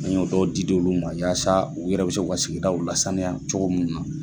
An y'o dɔw di di olu ma yaasa u yɛrɛ bɛ se ka o sigidaw lasaniya cogo munni na